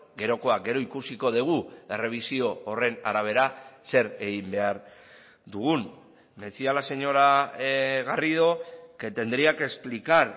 gerokoak gero ikusiko dugu errebisio horren arabera zer egin behar dugun decía la señora garrido que tendría que explicar